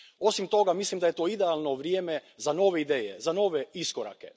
Osim toga, mislim da je to idealno vrijeme za nove ideje, za nove iskorake.